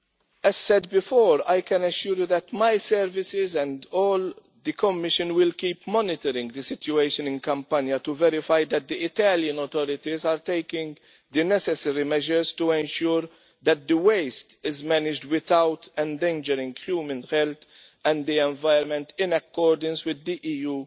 As I said before, I can assure you that my services and all the Commission will keep monitoring the situation in Campania to verify that the Italian authorities are taking the necessary measures to ensure that the waste is managed without endangering human health and the environment in accordance with EU